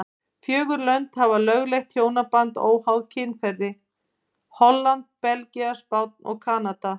Fjögur lönd hafa lögleitt hjónaband óháð kynferði, Holland, Belgía, Spánn og Kanada.